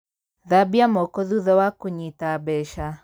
Thambia moko thutha wa kūnyita mbeca